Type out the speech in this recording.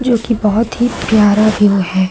जो कि बहोत ही प्यारा व्यू है।